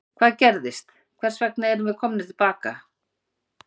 Hvað gerðist, hvers vegna erum við komnir til baka?